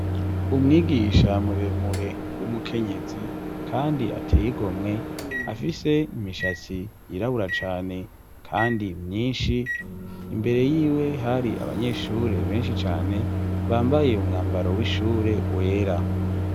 Umwigisha muremure w'umukenyezi kandi ateye igomwe afise imishatsi yirabura cane kandi myinshi, imbere yiwe hari abanyeshure benshi cane bambaye umwambaro w'ishure wera.